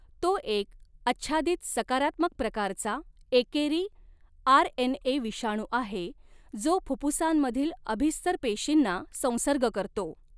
तो एक आच्छादित, सकारात्मक प्रकारचा, एकेरी आरएनए विषाणू आहे, जो फुफ्फुसांमधील अभिस्तर पेशींना संसर्ग करतो.